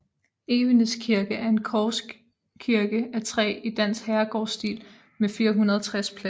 Evenes Kirke er en korskirke af træ i dansk herregårdsstil med 460 pladser